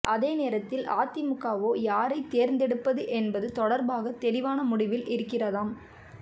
அதே நேரத்தில் அதிமுகவோ யாரை தேர்ந்தெடுப்பது என்பது தொடர்பாக தெளிவான முடிவில் இருக்கிறதாம்